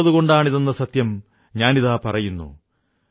മൈം ചൈൻ സേ സോതാ ഹൂം ക്യോംകി തുമ് സരഹദ് പർ തൈനാത് ഹോ